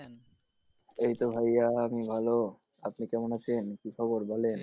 এইতো ভাইয়া আমি ভালো আপনি কেমন আছেন কী খবর বলেন?